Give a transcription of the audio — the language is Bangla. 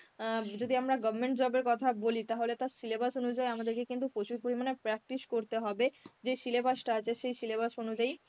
অ্যাঁ যদি আমরা government job এর কথা বলি তাহলে তার syllabus অনুযায়ী আমাদেরকে কিন্তু প্রচুর পরিমানে practice করতে হবে যে syllabus টা আছে সেই syllabus অনুযায়ী